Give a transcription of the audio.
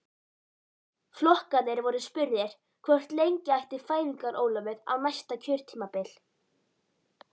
Flokkarnir voru spurðir hvort lengja ætti fæðingarorlofið á næsta kjörtímabili?